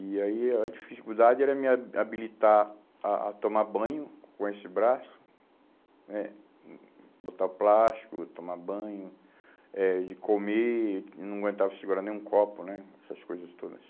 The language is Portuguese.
E aí a dificuldade era me ha habilitar a a tomar banho com esse braço, eh hum botar plástico, tomar banho, eh de comer, não aguentava segurar nem um copo né, essas coisas todas.